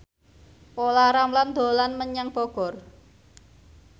Olla Ramlan dolan menyang Bogor